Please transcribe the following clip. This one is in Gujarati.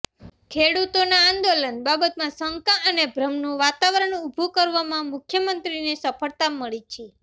ખેડૂતોના આંદોલન બાબતમાં શંકા અને ભ્રમનું વાતાવરણ ઉભું કરવામાં મુખ્ય મંત્રીને સફળતા મળી છે